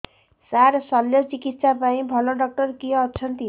ସାର ଶଲ୍ୟଚିକିତ୍ସା ପାଇଁ ଭଲ ଡକ୍ଟର କିଏ ଅଛନ୍ତି